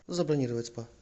забронировать спа